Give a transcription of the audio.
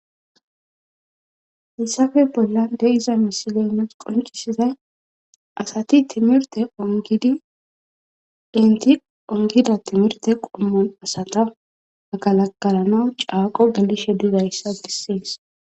hissafe bolla de7iza misiley nus qoncisizay asati timirte ongidinti ongida timirte qommon asata magalakalana caaqo gelishe dizayssa besees